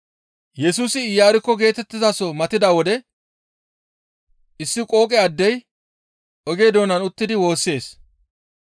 Yesusi Iyarkko geetettizaso matida wode issi qooqe addey oge doonan uttidi woossees.